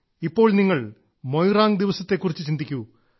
ഇപ്പോൾ നിങ്ങൾ മൊയിറാങ് ദിവസത്തെക്കുറിച്ച് ചിന്തിക്കൂ